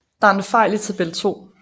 Der er en fejl i tabel 2